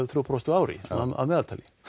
þrjú prósent á ári að meðaltali